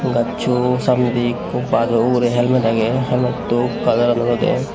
gaccho samnedi ikko gajo ugure helmet agey helmetto kalaran olode.